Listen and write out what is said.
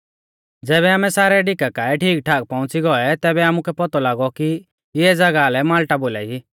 ज़ैबै आमै सारै ढिका काऐ ठीकठाक पौउंच़ी गौऐ तैबै आमुकै पौतौ लागौ कि इऐं ज़ागाह लै माल्टा बोलाई